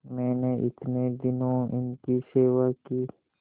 मैंने इतने दिनों इनकी सेवा की